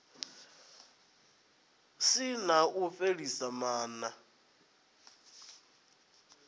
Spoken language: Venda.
si na u fhelisa maana